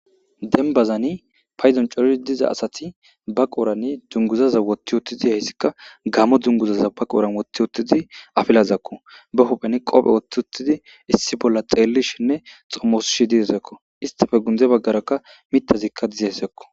Dembbazani paydon coridi diza asathi ba qoorani dungguzaza woththi7uththi diyaysika gamo dunguzaza ba qooren woththi uththidi afilazakko;ba huuphen qophe woththi uththidi issi bolla xeellishinne xomoosishe dizezakoo;isththepe gundde baggaarakka miththazikka dizaysakoo.